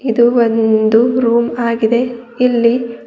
ಇದು ಒಂದು ರೂಮ್ ಆಗಿದೆ ಇಲ್ಲಿ--